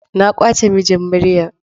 Na kwace mijin Maryam.